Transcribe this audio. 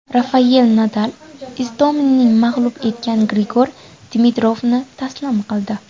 Rafayel Nadal Istominni mag‘lub etgan Grigor Dimitrovni taslim qildi.